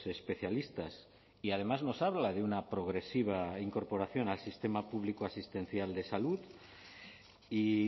especialistas y además nos habla de una progresiva incorporación al sistema público asistencial de salud y